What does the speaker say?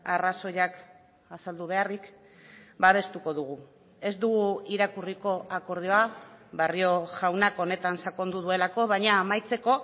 arrazoiak azaldu beharrik babestuko dugu ez dugu irakurriko akordioa barrio jaunak honetan sakondu duelako baina amaitzeko